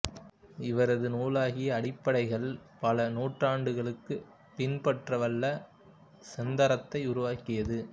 இவரது நூலாகிய அடிப்படைகள் பல நூஊற்றாண்டுகளுக்கு பின்பற்றவல்ல செந்தரத்தை உருவாக்கியது